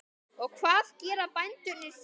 Og hvað gera bændur þá?